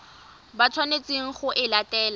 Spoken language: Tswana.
ba tshwanetseng go e latela